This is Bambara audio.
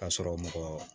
Ka sɔrɔ mɔgɔ